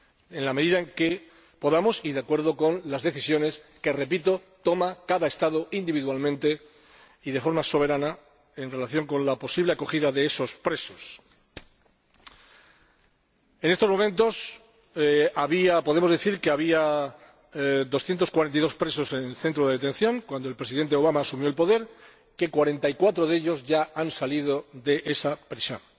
en la medida en que podamos y de acuerdo con las decisiones que —repito— toma cada Estado individualmente y de forma soberana en relación con la posible acogida de esos presos. Podemos decir que había 242 presos en el centro de detención cuando el Presidente Obama asumió el poder, y que 44 de ellos ya han salido de esa prisión.